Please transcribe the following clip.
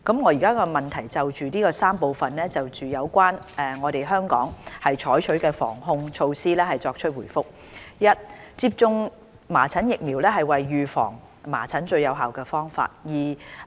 我現就質詢的3部分，就有關本港採取的防控措施，作出回覆：一接種麻疹疫苗為預防麻疹的最有效方法。